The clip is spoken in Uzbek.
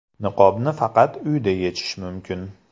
Niqobni faqat uyda yechish mumkin.